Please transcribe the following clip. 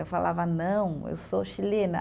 Eu falava, não, eu sou chilena.